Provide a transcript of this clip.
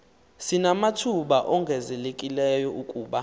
sinamathuba ongezelelekileyo kuba